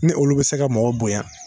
Ni olu bɛ se ka mɔgɔ bonya.